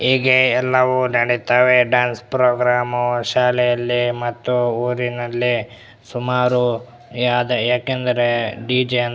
ಹೇಗೆ ಎಲ್ಲವೂ ನಡೀತವೆ ಡಾನ್ಸ್ ಪ್ರೋಗ್ರಾಮ್ ಶಾಲೆಯಲ್ಲಿ ಮತ್ತು ಊರಿನಲ್ಲಿ ಸೂಮಾರು ಯಾಕ ಯಾಕಂದ್ರೆ ಡಿ.ಜೆ ಅಂಟ್ --